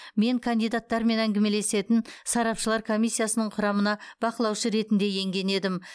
мен кандидаттармен әңгімелесетін сарапшылар комиссиясының құрамына бақылаушы ретінде енген едім